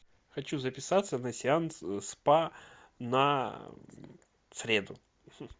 хочу записаться на сеанс спа на среду